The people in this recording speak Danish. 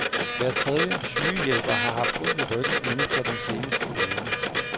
Hver tredje sygehjælper har haft ondt i ryggen inden for den seneste uge.